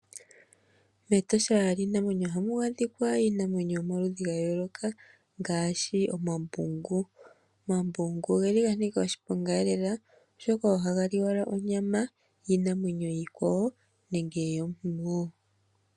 Metosha lyiinamwenyo ohamu adhika iinamwenyo yomaludhi ga yooloka ngaashi omambungu. Omambungu ogeli ga nika oshiponga lela, oshoka ohaga li owala onyama yiinamwenyo iikwawo nenge yomuntu woo.